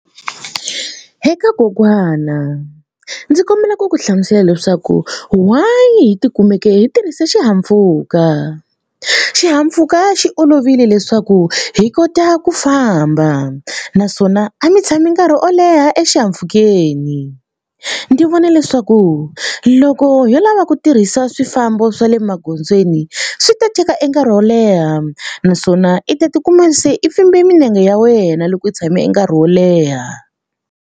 Eka kokwana ndzi kombela ku ku hlamusela leswaku why hi tikumeki hi tirhisa xihahampfhuka. Xihahampfhuka xi olovile leswaku hi kota ku famba naswona a mi tshami nkarhi wo leha exihahampfhukeni. Ndzi vona leswaku loko yo lava ku tirhisa swifambo swa le magondzweni swi ta teka e nkarhi wo leha naswona i ta tikuma se i pfimbe milenge ya wena loko u tshame nkarhi wo leha.